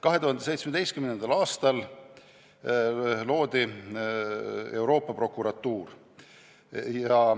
2017. aastal loodi Euroopa Prokuratuur.